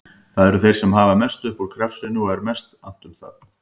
Það eru þeir sem hafa mest upp úr krafsinu og er mest annt um að